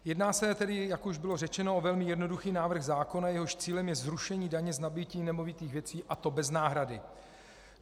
Jedná se tedy, jak už bylo řečeno, o velmi jednoduchý návrh zákona, jehož cílem je zrušení daně z nabytí nemovitých věcí, a to bez náhrady.